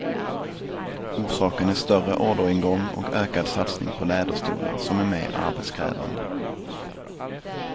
Orsaken är större orderingång och ökad satsning på läderstolar, som är mer arbetskrävande.